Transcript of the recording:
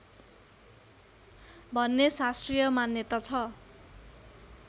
भन्ने शास्त्रीय मान्यता छ